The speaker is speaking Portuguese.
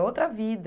É outra vida.